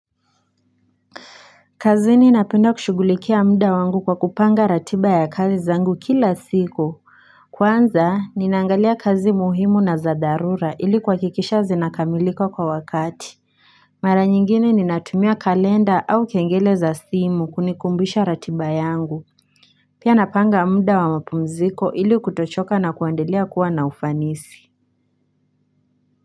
Kazini napenda kushughulikia muda wangu kwa kupanga ratiba ya kazi zangu kila siku Kwanza ninaangalia kazi muhimu na za dharura ili kuhakikisha zinakamilika kwa wakati Mara nyingine ninatumia kalenda au kengele za simu kunikumbusha ratiba yangu Pia napanga muda wa mapumziko ili kutochoka na kuendelea kuwa na ufanisi.